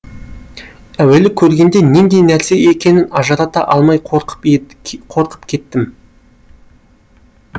әуелі көргенде нендей нәрсе екенін ажырата алмай қорқып кеттім